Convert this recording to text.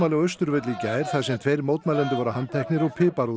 á Austurvelli í gær þar sem tveir mótmælendur voru handteknir og